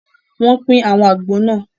Wọn pín àwọn àgbò náà